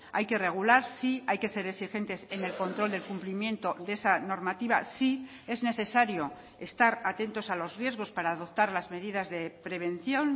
hay que regular sí hay que ser exigentes en el control del cumplimiento de esa normativa sí es necesario estar atentos a los riesgos para adoptar las medidas de prevención